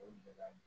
O gɛlɛya